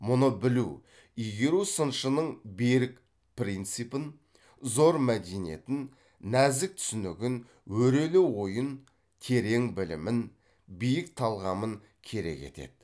мұны білу игеру сыншының берік принципін зор мәдениетін нәзік түсінігін өрелі ойын терең білімін биік талғамын керек етеді